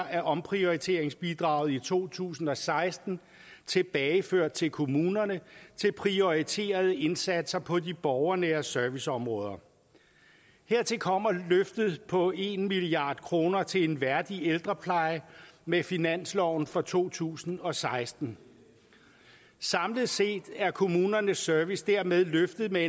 af omprioriteringsbidraget i to tusind og seksten tilbageført til kommunerne til prioriterede indsatser på de borgernære serviceområder hertil kommer løftet på en milliard kroner til en værdig ældrepleje med finansloven for to tusind og seksten samlet set er kommunernes service dermed løftet med